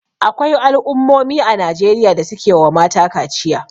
Akwai al'ummomi a Najeriya da suke wa mata kaciya.